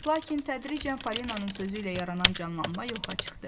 Lakin tədricən Falinanın sözü ilə yaranan canlanma yoxa çıxdı.